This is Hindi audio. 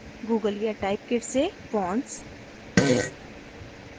google या typekit से fonts